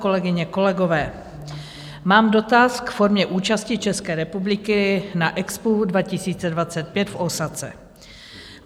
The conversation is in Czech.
Kolegyně, kolegové, mám dotaz k formě účasti České republiky na Expu 2025 v Ósace.